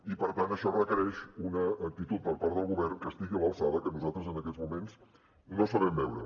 i per tant això requereix una actitud per part del govern que estigui a l’alçada i que nosaltres en aquests moments no sabem veure